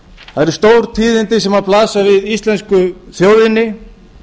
það eru stór tíðindi sem blasa við íslensku þjóðinni